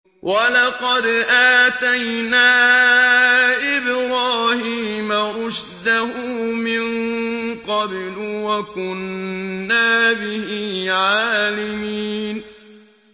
۞ وَلَقَدْ آتَيْنَا إِبْرَاهِيمَ رُشْدَهُ مِن قَبْلُ وَكُنَّا بِهِ عَالِمِينَ